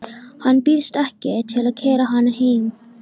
Hann býðst ekki til að keyra hana heim.